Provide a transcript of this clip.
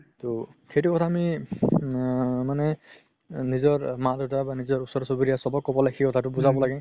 তৌ সেইটো কথা আমি আ মানে নিজৰ মাক দেউতা বা নিজৰ ওচৰ-চুবুৰীয়া চবক ক'ব লাগে সেই কথাটো বুজাব লাগে